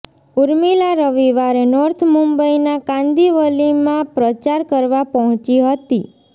ઉર્મિલા રવિવારે નોર્થ મુંબઈના કાંદીવલીમાં પ્રચાર કરવા પહોંચી હતી